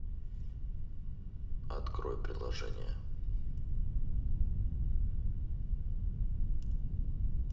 открой приложение